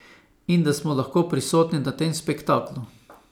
In da smo lahko prisotni na tem spektaklu.